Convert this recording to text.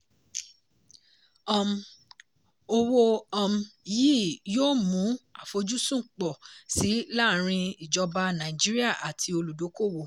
um owó um yìí yóò mú àfojúsùn pọ̀ sí laarin ìjọba nàìjíríà àti olùdókòwò.